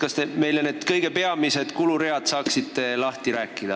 Kas te saaksite meile rääkida kõige peamistest kuluridadest?